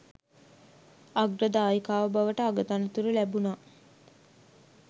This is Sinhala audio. අග්‍ර දායිකාව බවට අගතනතුරු ලැබුනා